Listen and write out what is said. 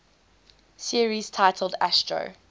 series titled astro